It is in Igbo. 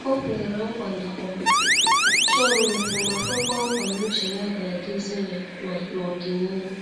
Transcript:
O kweere na ọ chọrọ okwu ma kwekwa nkwa n'uche ya ga-adizi ya na n'ọdịnihu.